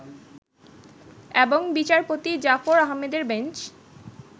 এবং বিচারপতি জাফর আহমেদের বেঞ্চ